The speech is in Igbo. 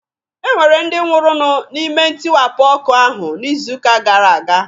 E nwere ndi nwụrụnụ n'ime ntiwapụ ọkụ ahụ n'izuuka gara aga.